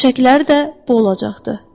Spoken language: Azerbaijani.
Döşəkləri də bu olacaqdı.